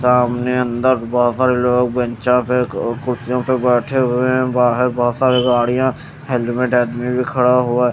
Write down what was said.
सामने अन्दर बाहर लोग बेंचा पे ओ कुर्सियों पर बेठे हुए हें बाहर बहोत सारी गाडिया हेलमेट आदमी भी खड़ा हुआ हें।